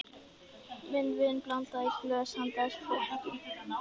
Minn vin blandaði í glös handa þessu fólki.